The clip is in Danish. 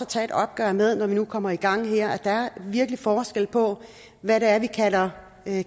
tage et opgør med når vi nu kommer i gang her for der er virkelig forskel på hvad det er vi kalder